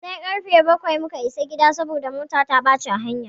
Sai karfe bakwai muka isa gida saboda mota ta ɓaci a hanya.